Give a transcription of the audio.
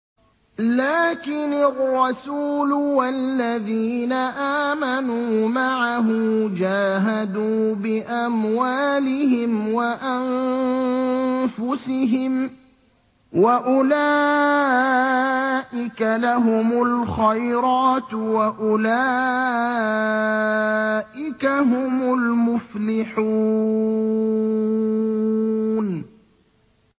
لَٰكِنِ الرَّسُولُ وَالَّذِينَ آمَنُوا مَعَهُ جَاهَدُوا بِأَمْوَالِهِمْ وَأَنفُسِهِمْ ۚ وَأُولَٰئِكَ لَهُمُ الْخَيْرَاتُ ۖ وَأُولَٰئِكَ هُمُ الْمُفْلِحُونَ